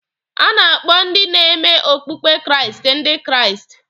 A na-akpọ ndị ne-me okpụkpe Kraịst Ndị Kraịst.